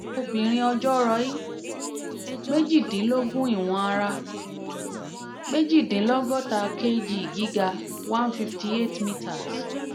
obìnrin ọjọ́ roí: méjìlélógún ìwọ̀n ara: méjì dínlọ́gọ́ta kg gíga: one fifty eight meters